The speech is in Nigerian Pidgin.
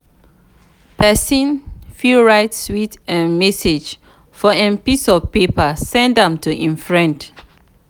persin fit write sweet um message for um piece of paper send am to im friend